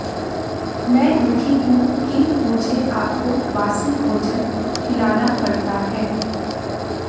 मैं दुखी हूं कि मुझे आपको बासी भोजन खिलाना पड़ता है